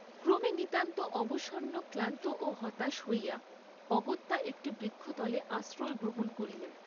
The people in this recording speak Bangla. ক্রমে নিতান্ত অবসন্ন, ক্লান্ত ও হতাশ হইয়া, অগত্যা একটি বৃক্ষতলে আশ্রয় গ্রহণ করিলেন।